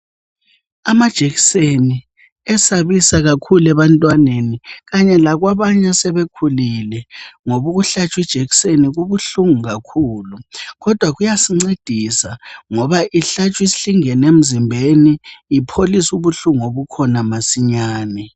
Amajekseni esabisa kakhulu ebantwaneni kanye lakwabanye asebekhulile. Ngobukuhlatshwi jekiseni kubuhlungu kakhulu. Kodwa kuyascedisa ngoba ihlatshwi hlingene mzimbeni. Ipholisubuhlu ngobukhona masinyane.